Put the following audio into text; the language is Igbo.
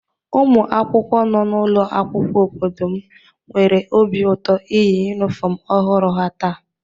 Ụmụ akwụkwọ nọ n'ụlọ akwụkwọ obodo m nwere obi ụtọ iyi yunifọmụ ọhụrụ ha taa.